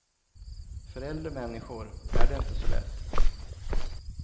För äldre människor är det inte så lätt.